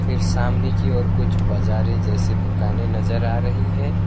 फिर सामने की ओर कुछ बजारे जैसे दुकान नजर आ रही हैं।